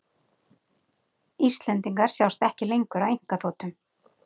Íslendingar sjást ekki lengur á einkaþotum